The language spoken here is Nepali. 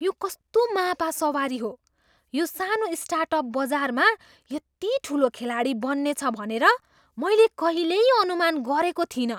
यो कस्तो मापा सवारी हो! यो सानो स्टार्टअप बजारमा यति ठुलो खेलाडी बन्नेछ भनेर मैले कहिल्यै अनुमान गरेको थिइनँ।